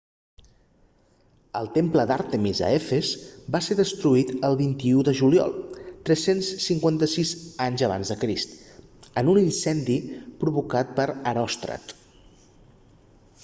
el temple d'àrtemis a efes va ser destruït el 21 de juliol 356 aec en un incendi provocat per heròstrat